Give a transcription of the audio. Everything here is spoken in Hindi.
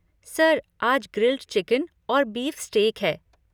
सर, आज ग्रिल्ड चिकन और बीफ स्टेक है।